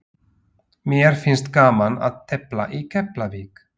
Mér finnst gaman að tefla í Keflavík.